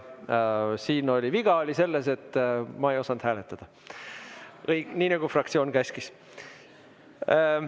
Siin oli viga selles, et ma ei osanud hääletada nii, nagu fraktsioon käskis.